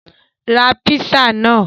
Ra písà náà!